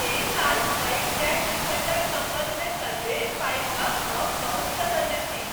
एहि साल पैघ टैक्स रिफंडक सम्बन्धमे सन्देश पाबि कऽ हम बहुत प्रसन्न छी।